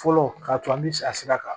Fɔlɔ k'a tun an bɛ a sira kan